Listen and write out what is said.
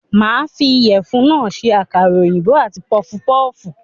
Màá fi ìyèfun náà se àkàrà òyìnbó àti pufupúfù